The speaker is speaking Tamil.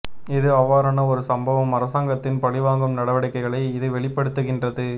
இது அவ்வாறான ஓரு சம்பவம் அரசாங்கத்தின் பழிவாங்கும் நடவடிக்கைகளை இது வெளிப்படுத்துகின்றது